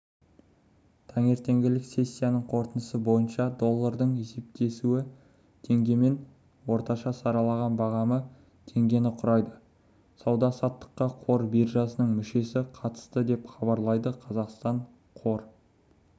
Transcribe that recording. таңертеңгілік сессиясының қорытындысы бойынша долларының есептесуі теңгемен орташа сараланған бағамы теңгені құрайды сауда-саттыққа қор биржасының мүшесі қатысты деп хабарлайды қазақстан қор